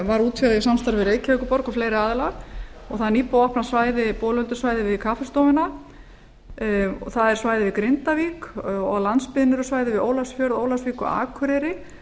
var útvegað í samstarfi við reykjavíkurborg og fleiri aðila og það er nýbúið að opna við kaffistofuna það er svæði í grindavík og á landsbyggðinni eru svæði við ólafsfjörð ólafsvík og akureyri